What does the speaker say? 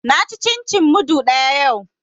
Na ci cin cin mudu ɗaya yau